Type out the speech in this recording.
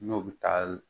N'o bɛ taa